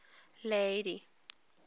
lady